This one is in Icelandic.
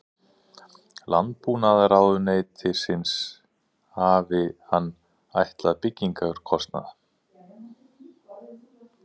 Landbúnaðarráðuneytisins hafi hann áætlað byggingarkostnað